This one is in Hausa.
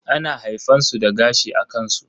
ana haifan su da gashi a kansu.